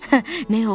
Nəyə oxşayır?